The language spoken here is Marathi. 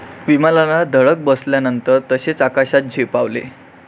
विमानाला धडक बसल्यानंतर तसेच आकाशात झेपावले.